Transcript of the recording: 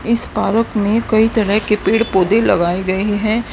इस पारक में कोई तरह के पेड़ पौधे लगाए गए हैं।